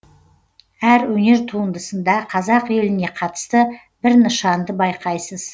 әр өнер туындысында қазақ еліне қатысты бір нышанды байқайсыз